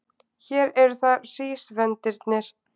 Hér eru það hrísvendirnir.